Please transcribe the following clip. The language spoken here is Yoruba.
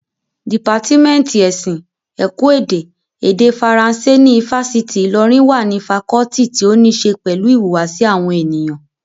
Dìpátímẹ́ǹtì ẹ̀sìn, ẹ̀kọ́ èdè, èdè faransé ní ifásitì Ìlọrin wà ní fakọọti tí ó ní ṣe pẹ̀lú ìhùwàsí àwọn ènìyàn